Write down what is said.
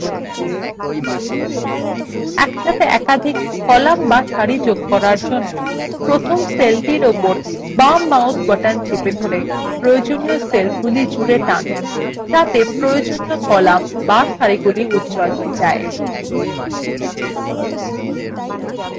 একসাথে একাধিক কলাম বা সারি যোগ করার জন্য প্রথম সেলটির উপর বাম mouse button চেপে ধরে প্রয়োজনীয় সেলগুলি জুড়ে টেনে আনতে হবে যাতে প্রয়োজনীয় কলাম বা সারি গুলিউজ্জ্বল হয়ে যায়